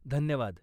धन्यवाद.